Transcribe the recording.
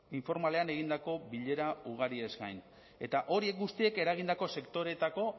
informalean egindako bilera ugariez gain eta horiek guztiek eragindako sektoreetako